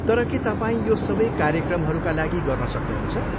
तर के तपाईँ यो सबै क्रार्यक्रमहरूका लागि गर्न सक्नुहुन्छ?